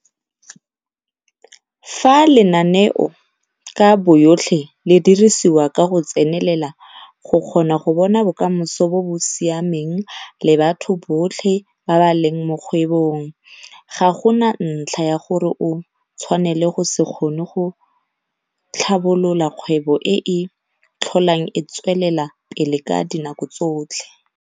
Fa lenaneo ka boyotlhe le dirisiwa ka go tsenelela go kgona go bona bokamoso bo bo siameng le batho botlhe ba ba leng mo kgwebong ga go na ntlha ya gore o tshwanele go se kgone go tlhabolola kgwebo e e tlholang e tswelela pele ka dinako tsotlhe.